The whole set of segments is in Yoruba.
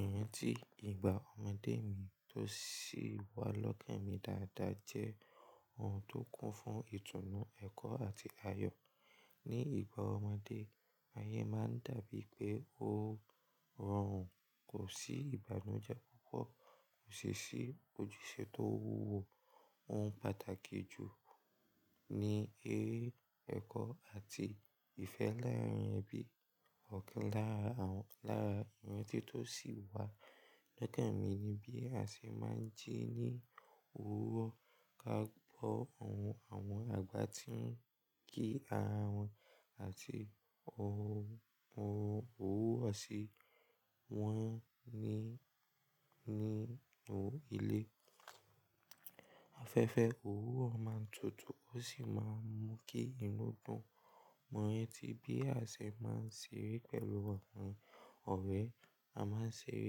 Ìrántí ìgbà ọmọdé mi tó sì wà lọ́kàn mi dáadáa jẹ́ ohun tó kún fún ìtùnú, ẹ̀kọ́ àti ayọ̀. Ní ìgbà ọmọdé, ayé máa ń dàbíi pé ó rọrùn, kò sí ìbànújẹ́ púpọ̀, kò sì sí ojúṣe tó wúwo. Ohun pàtàkì jù ní eré, ẹ̀kọ́ àti ìfẹ́ láàrín ẹbí. Ọ̀kan lára, àwọn lára ìrántí tó sì wà lọ́kàn mi ni bí a ṣe máa ń jí ní òwúrọ̀. Ká bọ̀ àwọn, àwọn àgbà tí ń kí ara wọn àti ohun, ohun wúwò si wọ́n ní, nínú ilé. Afẹ́fẹ́ òwúrọ̀ máa ń tutù ó sì máa ń mú kí inú dùn. Mọ rántí bí a ṣe máa ń ṣeré pẹ̀lú àwọn ọ̀rẹ́. A máa ń ṣeré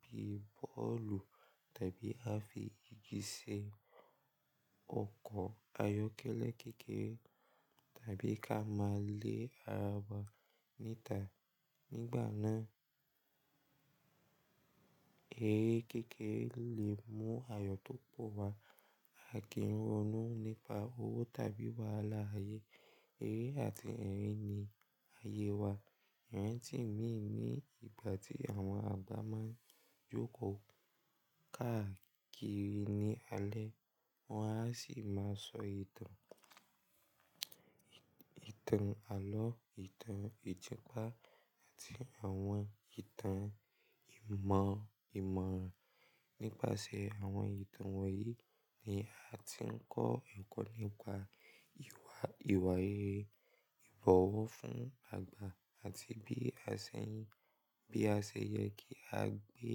bíi bọ́ọ̀lù tàbí a fi igi ṣe ọkọ̀ ayọ́kẹ́lẹ́ kékeré tàbí ká máa lé ara wa níta. Nígbà náà, eré kékeré lè mú ayọ̀ tó pò wá, a kì ń ronú nípa owó tàbí wàhálà ayé. Eré àti erín ni ayé wa. Ìrántí mi ní ìgbà tí àwọn àgbà máa ń jókòó káàkiri ní alẹ́, wọn a sì máa sọ ìtàn, ìtàn àlọ́, ìtàn ìjàpá àti àwọn ìtàn ìmọ̀, ìmọ̀ràn. Nípasẹ̀ àwọn ìtàn wọ̀nyí ni a ti ń kọ́ ẹ̀kọ́ nípa ìwà, ìwà rere, ìbọ̀wọ̀ fún àgbà àti bí a ṣe n, bí a ṣe yẹ kí a gbé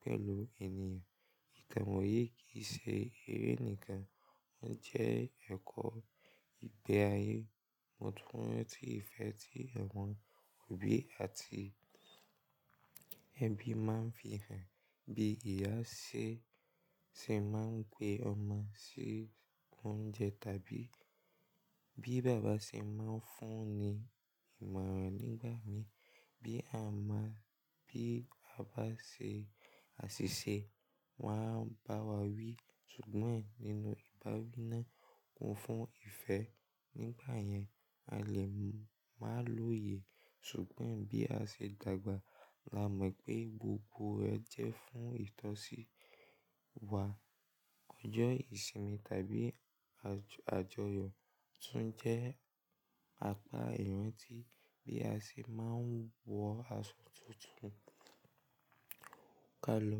pẹ̀lú ènìyàn. Ìtàn wọ̀nyí kì í ṣe eré nìkan, wọ́n jẹ́ ẹ̀kọ́ ìgbé ayé. Mo tún rántí ìfẹ́ tí àwọn òbí àti ẹbí máa ń fi hàn. Bí ìyá ṣe, ṣe máa ń gbé ọmọ sí oúnjẹ tàbí bí bàbá ṣe máa ń fún un ní ìmọ̀ràn nígbà mí. Bí a má, bí a bá ṣe àṣìṣe, wọ́n á bá wa wí ṣùgbọ́n nínú ìbáwí náà kún fún ìfẹ́. Nígbà yẹn, a lè máa lóye ṣùgbọ́n bí a ṣe dàgbà la mọ̀ pé gbogbo rẹ jẹ́ fún ìtọ́sí wa. Ọjọ́ ìsinmi tàbí àjọ, àjọyọ̀ tún jẹ́ apá ìrántí. Bí a ṣe máa ń wọ aṣọ tuntun ká lọ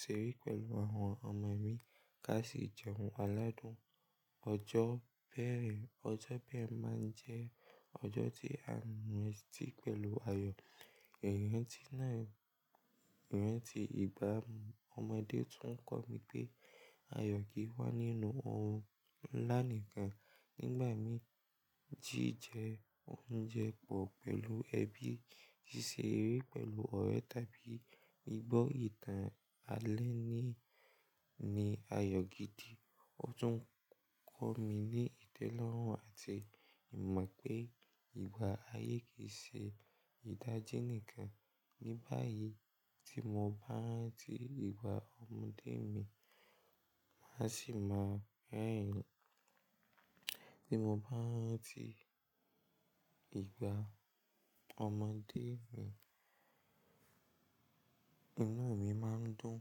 ṣeré pẹ̀lú àwọn ọmọ mí ká sì jẹun aládùn. Ọjọ́ bẹ̀rẹ̀, ọjọ́ ìbẹ̀rẹ̀ máa ń jẹ́ ọjọ́ tí a ń rántí pẹ̀lú ayọ̀. Ìrántí náà, ìrántí ìgbà ọmọdé tún kọ́ mi pé ayọ̀ kì í wá nínú ohun ńlá nìkan. Nígbà mí, jí jẹ oúnjẹ pọ̀ pẹ̀lú ẹbí, ṣíṣe eré pẹ̀lú ọ̀rẹ́ tàbí gbọ́ ìtàn alẹ́ ni, ni ayọ̀ gidi. Ó tún kọ́ mi ní ìtẹ́lọ́rùn àti ìmọ̀ pé ìgbà ayé kì í ṣe ìdájé nìkan. Ní báyìí tí mo bá ń rántí ìgbà ọmọdé mi, má sì máa rẹ́rìn. Tí mo bá ń rántí ìgbà ọmọdé mi, inú mi má ń dùn.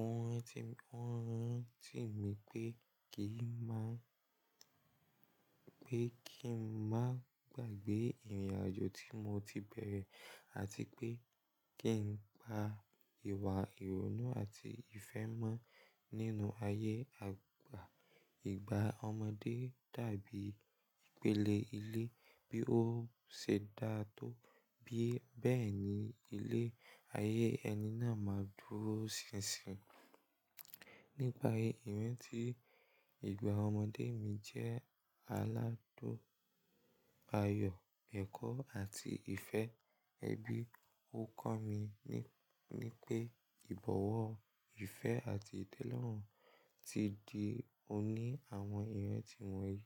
Ohun ti, ohun ti mi pé kí n má, pé kí n má gbàgbé ìrìnàjò tí mo ti bẹ̀rẹ̀ àti pé kí n gba ìwà ìrónú àti ìfẹ́ mọ́ nínú ayé àgbà. Ìgbà ọmọdé tàbí ìpele ilé bí ó ṣe dá tó bí bẹ́ẹ̀ ni ilé, ayé ẹni náà máa dúró ṣinṣin. Nípa èyí, ìrántí ìgbà ọmọdé mi jẹ́ aládùn ayọ̀, ẹ̀kọ́ àti ìfẹ́ ẹbí. Ó kọ́ mi ní pé ìbọ̀wọ̀, ìfẹ́ àti ìtẹ́lọ́rùn ti di òní àwọn ìrántí wọ̀nyí.